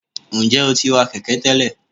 njẹ o ti wa kẹkẹ tẹlẹ?